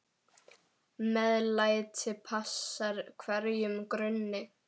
MEÐLÆTI passar hverjum grunni.